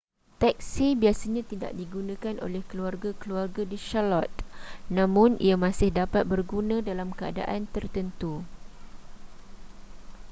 teksi biasanya tidak digunakan oleh keluarga-keluarga di charlotte namun ia masih dapat berguna dalam keadaan tertentu